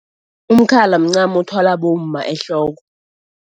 Umkhala mncamo othwalwa bomma ehloko.